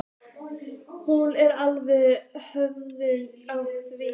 Hún var alveg hörð á því.